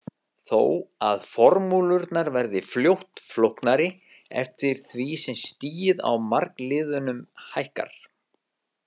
Þó að formúlurnar verði fljótt flóknari eftir því sem stigið á margliðunum hækkar.